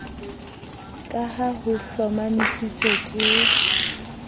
ka ha ho hlomamisitswe ke